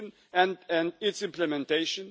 and its implementation.